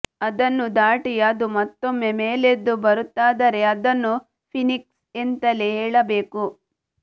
ಅದನ್ನೂ ದಾಟಿ ಅದು ಮತ್ತೊಮ್ಮೆ ಮೇಲೆದ್ದು ಬರುತ್ತದಾದರೆ ಅದನ್ನು ಫೀನಿಕ್ಸ್ ಎಂತಲೇ ಹೇಳಬೇಕು